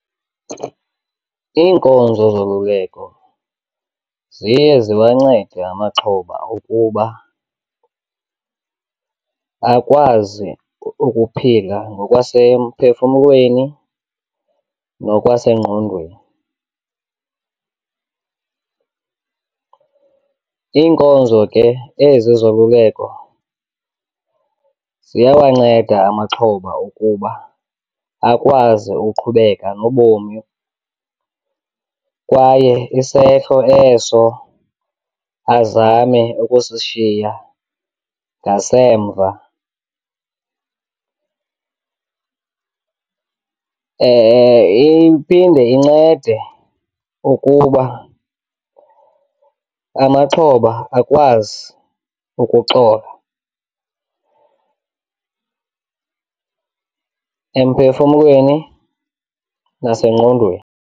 Iinkonzo zoluleko ziye ziwancede amaxhoba ukuba akwazi ukuphila ngokwasemphefumlweni nokwasengqondweni. Iinkonzo ke ezi zoluleko ziyawanceda amaxhoba ukuba akwazi ukuqhubeka nobomi kwaye isehlo eso azame ukusishiya ngasemva. Iphinde incede ukuba amaxhoba akwazi ukuxola emphefumlweni nasengqondweni.